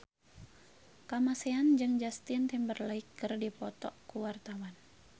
Kamasean jeung Justin Timberlake keur dipoto ku wartawan